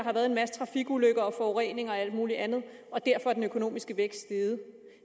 har været en masse trafikulykker og forurening og alt mulig andet og derfor er den økonomiske vækst steget